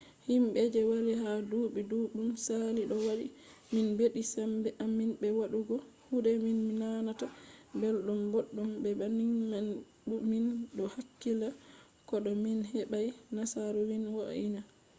himɓe je walli ha duuɓi ɗuɗɗum saali ɗo waɗi min ɓeddi sembe amin be bo waɗugo kuɗe min nanata belɗum boɗɗum. be banning man fu min ɗo hakkila ko to min heɓai nasaru min wo’ina